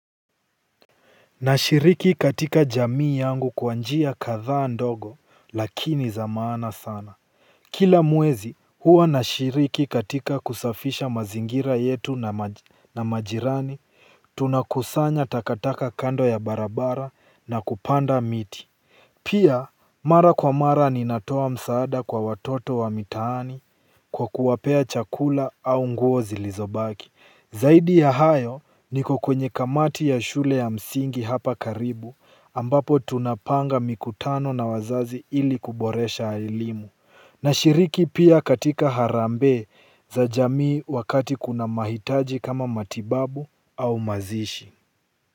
Nashiriki katika jamii yangu kwa njia kadhaa ndogo lakini za maana sana. Kila mwezi, huwa nashiriki katika kusafisha mazingira yetu na majirani tunakusanya takataka kando ya barabara na kupanda miti. Pia mara kwa mara ninatoa msaada kwa watoto wa mitaani kwa kuwapea chakula au nguo zilizobaki. Zaidi ya hayo, niko kwenye kamati ya shule ya msingi hapa karibu ambapo tunapanga mikutano na wazazi ili kuboresha elimu. Nashiriki pia katika harambe za jamii wakati kuna mahitaji kama matibabu au mazishi.